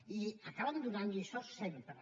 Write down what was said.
i acaben donant lliçons sempre